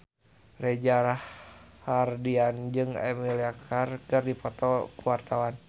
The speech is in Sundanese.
Reza Rahardian jeung Emilia Clarke keur dipoto ku wartawan